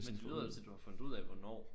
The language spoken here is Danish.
Men det lyder da til du har fundet ud af hvornår